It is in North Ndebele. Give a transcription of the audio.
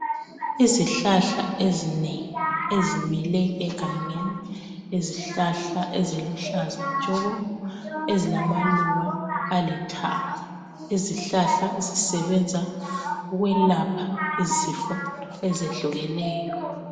Izihlahla ezinengi ezimile egangeni yizihlahla eziluhlaza tshoko ezilamaluba alithanga. Lezi zihlahla zisebenza ukwelapha izifo ezehlukeneyo